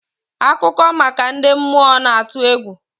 Akụkọ maka ndị mmụọ na-atụ egwu.